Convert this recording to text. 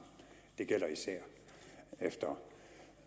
det gælder især efter